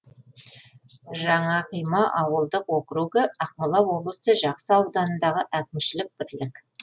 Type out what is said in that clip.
жаңақима ауылдық округі ақмола облысы жақсы ауданындағы әкімшілік бірлік